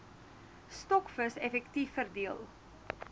stokvis effektief verdeel